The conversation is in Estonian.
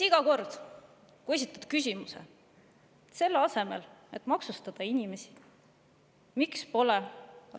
Iga kord, kui esitad küsimuse "Miks pole selle asemel, et maksustada inimesi,